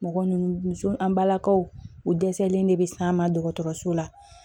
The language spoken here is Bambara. Mɔgɔ ninnu muso an balakaw u dɛsɛlen de bɛ s'an ma dɔgɔtɔrɔso la